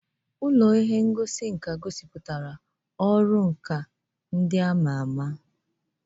Ụlọ ihe ngosi nka gosipụtara nlegharị anya nke ọrụ ndị a ma ama.